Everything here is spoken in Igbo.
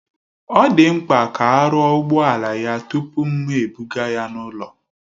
Ọ dị mkpa ka a rụọ ụgbọala ya tupu m ebuga ya n'ụlọ